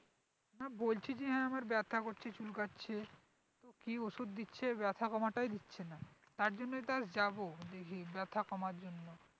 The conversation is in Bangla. বলছি যে হ্যাঁ আমার ব্যাথা করছে চুলকাচ্ছে তো কি ওষুধ দিচ্ছে ব্যাথা কমাটাই দিচ্ছে না তার জন্যই তো আর যাবো দেখি ব্যাথা কমার জন্য